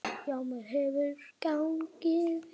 Já, mér hefur gengið vel.